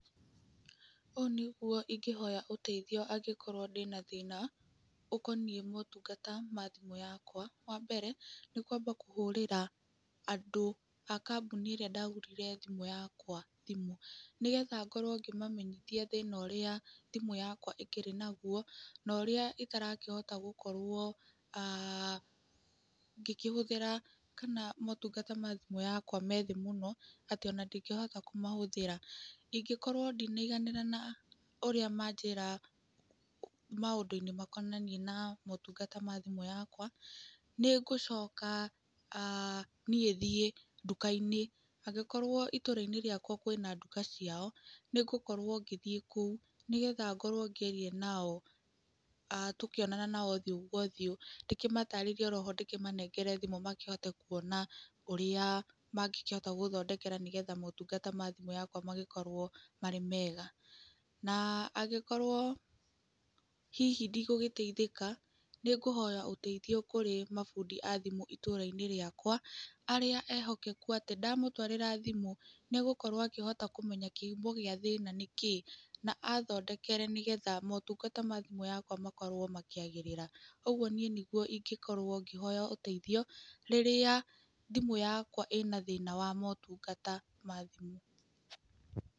Ũũ nĩguo ingĩhoya ũteithio angĩkorwo ndĩna thĩna ũkoniĩ motungata ma thimũ yakwa. Wa mbere, nĩ kwamba kũhũrĩra andũ a kambuni ĩrĩa ndagũrire thimũ yakwa thimũ. Nĩgetha ngorwo ngĩmamenyithia thĩna ũrĩa thimũ yakwa ĩkĩrĩ naguo, na ũrĩa itarakĩhota gũkorwo ngĩkĩhũthĩra kana motungata ma thimũ yakwa me thĩ mũno, atĩ ona ndingĩhota kũmahũthĩra. Ingĩkorwo ndinaiganĩra na ũrĩa manjĩra maũndũ-inĩ makonainie na motungata ma thimũ yakwa, nĩ ngũcoka niĩ thiĩ nduka-inĩ. Angĩkorwo itũũra-inĩ rĩakwa kwĩna nduka ciao, nĩ ngũkorwo ngĩthiĩ kũu, nĩgetha ngorwo ngĩaria nao, tũkĩonana nao ũthiũ kwa ũthiũ. Ndĩkĩmatarĩrie oroho ndĩkĩmanengere thimũ makĩhote kuona ũrĩa mangĩkĩhota gũthondekera nĩgetha motungata ma thimũ yakwa magĩkorwo marĩ mega. Na angĩkorwo hihi ndigũgĩteithĩka, nĩ ngũhoya ũteithio kũrĩ mabundi a thimũ itũũra-inĩ rĩakwa, arĩa ehokeku atĩ ndamũtwarĩra thimũ, nĩ egũkorwo akĩhota kũmenya kĩhumo gĩa thĩna nĩkĩ. Na athondekere nĩgetha motungata ma thimũ yakwa makorwo makĩagĩrĩra. Ũguo nĩguo niĩ ingĩkorwo ngĩhoya ũteithio, rĩrĩa thimũ yakwa ĩna thĩna wa motungata ma thimũ.